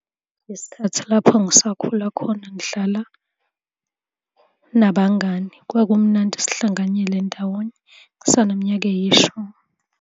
Ngesikhathi lapho ngisakhula khona ngidlala nabangani kwakumnandi sihlanganyele ndawonye, ngisaneminyaka eyishumi.